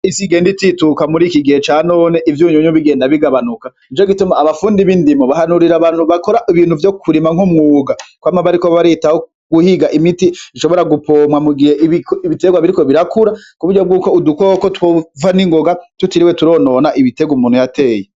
Isi igenda itituka muri kigihe canone ivyunyunyu bigenda bigabanuka nico gituma abafundi b'indimo bahanurira abantu bakora ibintu vyo kurima nk'umwuga kwama bariko baritaho guhiga imiti ishobora gupomwa mugihe ibiterwa biriko birakura kuburyo bw'uko udukoko twova n'ingoga tutiriwe turonona ibiterwa umuntu yateye.